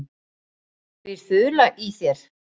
Býr ÞULA í þér?